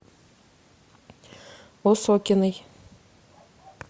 осокиной